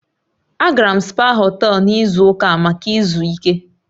Agara m spaa họtel n'izu ụka maka izu ike.